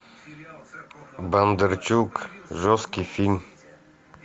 бондарчук жесткий фильм